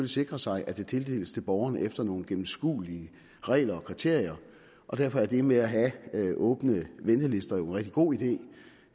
sikre sig at det tildeles borgerne efter nogle gennemskuelige regler og kriterier og derfor er det med at have åbne ventelister jo en rigtig god idé